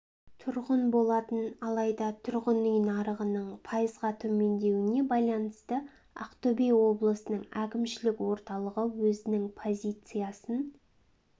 тұрған болатын алайда тұрғын үй нарығының пайызға төмендеуіне байланысты ақтөбе облысының әкімшілік орталығы өзінің позициясын